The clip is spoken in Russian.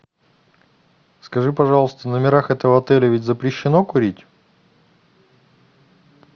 скажи пожалуйста в номерах этого отеля ведь запрещено курить